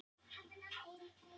Jörðin er næst Mars!